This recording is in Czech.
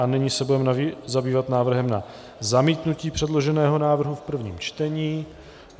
A nyní se budeme zabývat návrhem na zamítnutí předloženého návrhu v prvním čtení.